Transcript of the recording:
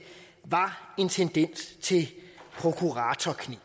var en tendens til prokuratorkneb